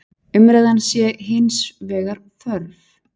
Umræðan sé hins vegar þörf.